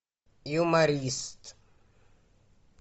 юморист